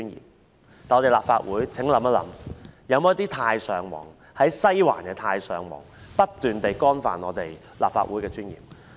可是，請立法會議員想一想：是否有一些"太上皇"、在西環的"太上皇"不斷地干犯立法會的尊嚴呢？